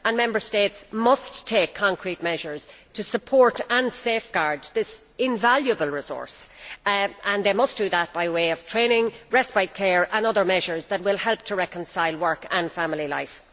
Member States must take practical steps to support and safeguard this invaluable resource, and they must do that by way of training, respite care and other measures that will help to reconcile work and family life.